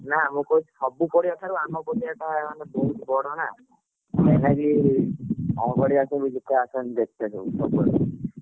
ନାଁ ମୁଁ କହୁଛି ସବୁ ପଡିଆ ଠାରୁ ଆମ ପଡିଆ ଟା ମାନେ ବେଶୀ ବଡ଼ ନା କଣ କହୁଥିଲିକି ଆମ ପଡିଆ କୁ ସବୁ ଲୋକ ଆସନ୍ତି ଦେଖିଆକୁ ସବୁ ସବୁଆଡୁ।